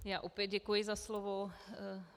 Já opět děkuji za slovo.